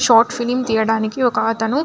short film తీయడానికి ఒక అతను --